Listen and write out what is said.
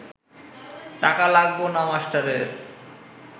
টাকা লাগব না মাস্টারের